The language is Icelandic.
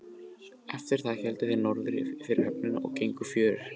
Eftir það héldu þeir norður fyrir höfnina og gengu fjörur.